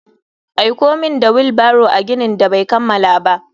Aiko min da wheel barrow a ginin da bai kammala ba.